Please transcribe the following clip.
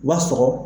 U b'a sɔgɔ